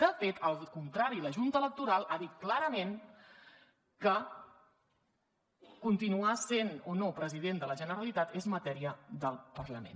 de fet al contrari la junta electoral ha dit clarament que continuar sent o no president de la generalitat és matèria del parlament